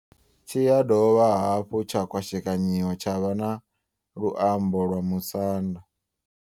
Tshi ya dovha hafhu tsha kwashekanyiwa tsha vha na luambo lwa Musanda.